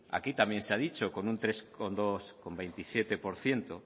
aquí también se ha dicho con un tres coma veintisiete por ciento